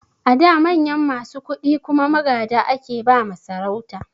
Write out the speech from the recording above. A da manyan masu kuɗi kuma magada ake ba ma sarauta